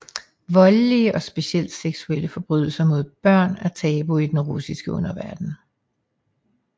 Voldelige og specielt seksuelle forbrydelser mod børn er tabu i den russiske underverden